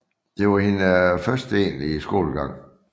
Det var hendes første egentlige skolegang